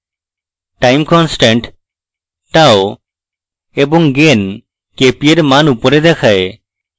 time constant tau এবং gain kp এর tau উপরে দেখায়